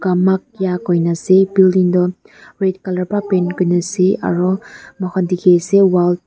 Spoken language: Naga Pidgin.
amak ja kori kina ase building tu red colour para paint kori kina ase aru moi khan dekhi ase wall --